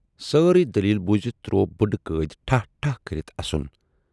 سٲرٕے دٔلیٖل بوٗزِتھ تروو بُڈٕ قۭدۍ ٹھاہ ٹھاہ کٔرِتھ اَسُن۔